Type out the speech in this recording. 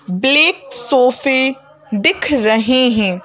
Black सोफे दिख रहे हैं।